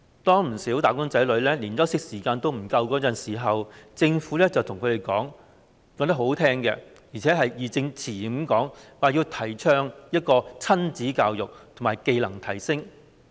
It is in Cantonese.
當不少"打工仔女"連休息時間也不足夠時，政府卻把話說得很動聽，而且義正詞嚴，說要提倡親子教育和技能提升。